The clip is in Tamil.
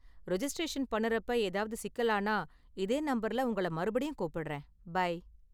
ரிஜிஸ்டிரேசன் பண்ணுறப்ப ஏதாவது சிக்கலானா, இதே நம்பர்ல உங்கள மறுபடியும் கூப்பிடுறேன். பை.